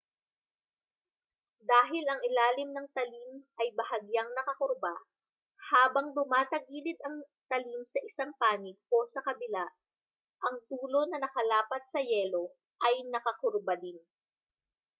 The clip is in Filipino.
dahil ang ilalim ng talim ay bahagyang nakakurba habang tumatagilid ang talim sa isang panig o sa kabila ang dulo na nakalapat sa yelo ay nakakurba din